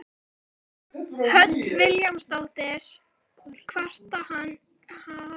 Hödd Vilhjálmsdóttir: Kvarta hann ekkert yfir því?